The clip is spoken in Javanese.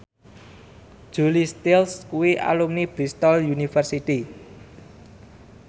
Julia Stiles kuwi alumni Bristol university